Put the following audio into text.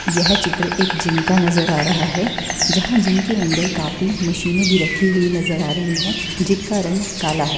यह चित्र एक जिम का नजर आ रहा है जहाँ जिम के अंदर काफी मशीने भी रखी हुई नजर आ रही है जिनका रंग काला है।